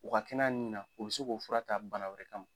U ka kɛnɛ a nin na u bi se k'o fura ta bana wɛrɛ kama.